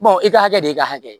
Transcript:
i ka hakɛ de y'i ka hakɛ ye